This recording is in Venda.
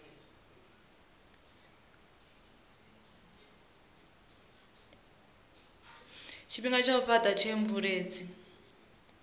tshifhinga tsha u fhata theomveledziso